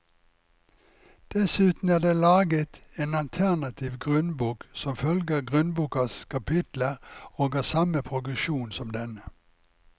Dessuten er det laget en alternativ grunnbok som følger grunnbokas kapitler og har samme progresjon som denne.